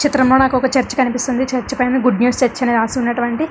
చిత్రంలో నాకొక చర్చ్ కనిపిస్తుంది. చర్చ్ పైన గుడ్ న్యూస్ చర్చ్ అని రాసి ఉన్నటువంటి--